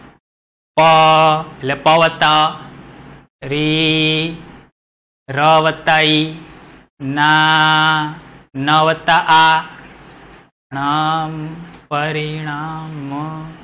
પ એટલે પ વત્તા અ, રી ર વત્તા ઈ ના, ન વત્તા આ મ, પરિણામ.